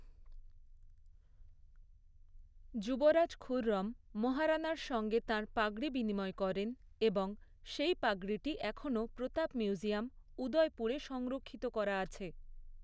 যুবরাজ খুররম মহারানার সঙ্গে তাঁর পাগড়ি বিনিময় করেন এবং সেই পাগড়িটি এখনও প্রতাপ মিউজিয়াম, উদয়পুরে সংরক্ষিত করা আছে।